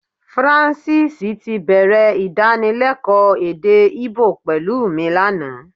Francis tí bẹ̀rẹ̀ Ìdánilẹ́kọ̀ọ́ èdè Íbò pẹ̀lú mi lánàá